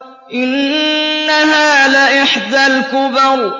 إِنَّهَا لَإِحْدَى الْكُبَرِ